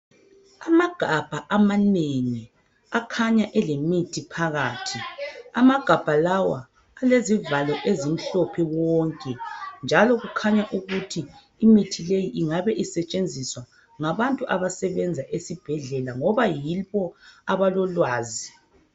Amagabha amanengi akhanya elemithi phakathi amagabha lawa alezivalo ezimhlophe wonke njalo kukhanya ukuthi imithi leyi ingabe isetshenziswa ngabantu abasebenza esibhedlela ngoba yibo abalolwazi.